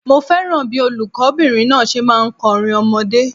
Mo fẹ́ràn bíí olùkó bìnrin náà se máa n kó orin ọmọdé